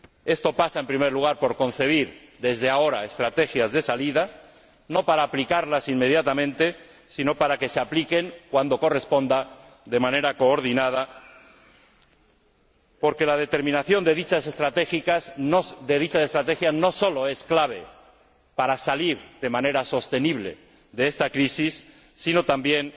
Esto pasa, en primer lugar, por concebir desde ahora estrategias de salida, no para aplicarlas inmediatamente, sino para que se apliquen cuando corresponda de manera coordinada, porque la determinación de dichas estrategias no sólo es clave para salir de manera sostenible de esta crisis, sino también